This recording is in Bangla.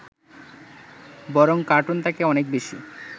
বরং কার্টুন তাকে অনেক বেশী